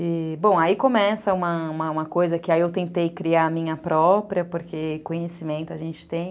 E, bom, aí começa uma coisa que aí eu tentei criar a minha própria, porque conhecimento a gente tem.